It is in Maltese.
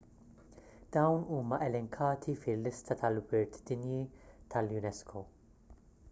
dawn huma elenkati fil-lista tal-wirt dinji tal-unesco